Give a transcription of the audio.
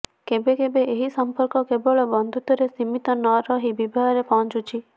କେବେ କେବେ ଏହି ସଂପର୍କ କେବଳ ବନ୍ଧୁତ୍ବରେ ସୀମିତ ନରହି ବିବାହରେ ପହଞ୍ଚିଛି